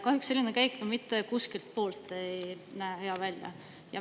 Kahjuks selline käik mitte kuskilt poolt ei näe hea välja.